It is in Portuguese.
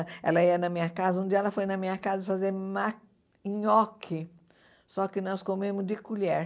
Ela ia na minha casa, um dia ela foi na minha casa fazer ma nhoque, só que nós comemos de colher.